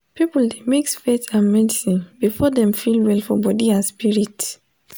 people dey mix faith and medicine before dem feel well for body and spirit.